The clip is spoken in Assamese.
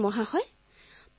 অপৰ্ণাঃ খুব ভাল মহোদয়